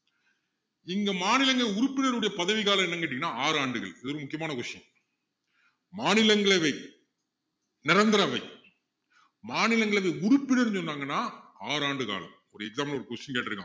இங்க மாநிலங்களின் உறுப்பினர்களின் பதவிக்காலம் என்னன்னு கேட்டீங்கன்னா ஆறு ஆண்டுகள் இதுவும் முக்கியமான question மாநிலங்களவை நிரந்தர அவை மாநிலங்களவை உறுப்பினர்னு சொன்னாங்கன்னா ஆறு ஆண்டு காலம் ஒரு exam ல ஒரு question கேட்டுருக்கான்